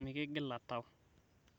mikigila tau